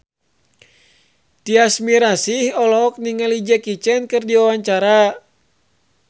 Tyas Mirasih olohok ningali Jackie Chan keur diwawancara